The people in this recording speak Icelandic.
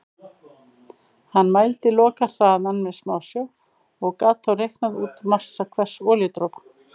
Hann mældi lokahraðann með smásjá og gat þá reiknað út massa hvers olíudropa.